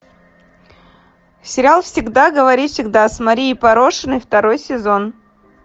сериал всегда говори всегда с марией порошиной второй сезон